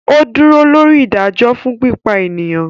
O dúró lóri ìdájọ fún pípa eniyan